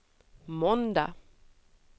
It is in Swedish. måndag